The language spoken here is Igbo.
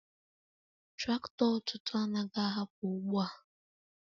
Traktọ ọtụtụ anaghị ahapụ ugbo a!.